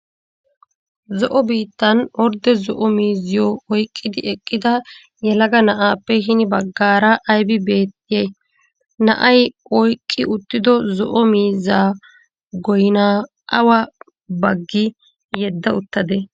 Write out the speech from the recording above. Zo'o biittan ordde zo'o miizziyoo oyiqqidi eqqida yelaga na'aappe hini baggaara ayibi beettiyayi? Na'ayi oyiqqi uttido zo'o miizziyaa goyinaa awa baggi yedda uttadee?